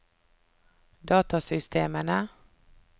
datasystemene